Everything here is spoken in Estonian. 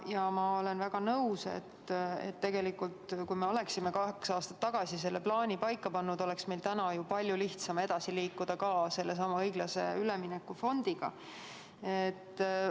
Ja ma olen väga nõus, et kui me oleksime kaks aastat tagasi selle plaani paika pannud, oleks meil täna palju lihtsam edasi liikuda ka sellesama õiglase ülemineku fondi tegemistega.